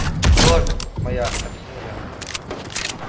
кровь моя объяснил я